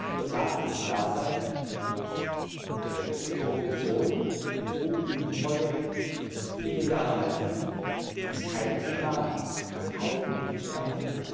In der Tat muss klar sein Korruption, Betrug, Untreue, illegaler Handel ist kein Thema von einigen Mitgliedstaaten.